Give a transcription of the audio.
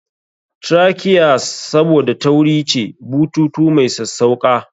Trachea's Saboda tauri ce, bututu mai sassauƙa.